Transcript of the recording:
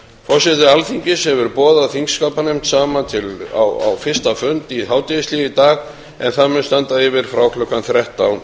forseti alþingis hefur boðað þingskapanefnd saman á fyrsta fund í hádegishléi í dag en það mun standa yfir frá klukkan þrettán